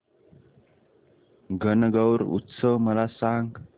गणगौर उत्सव मला सांग